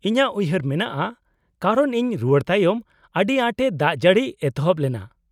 -ᱤᱧᱟᱹᱜ ᱩᱭᱦᱟᱹᱨ ᱢᱮᱱᱟᱜᱼᱟ ᱠᱟᱨᱚᱱ ᱤᱧ ᱨᱩᱣᱟᱹᱲ ᱛᱟᱭᱚᱢ ᱟᱹᱰᱤᱟᱸᱴ ᱮ ᱫᱟᱜᱡᱟᱹᱲᱤ ᱮᱛᱚᱦᱚᱵ ᱞᱮᱱᱟ ᱾